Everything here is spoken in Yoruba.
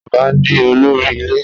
Baba ni olori ile